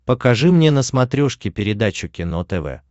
покажи мне на смотрешке передачу кино тв